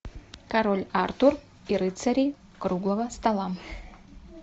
король артур и рыцари круглого стола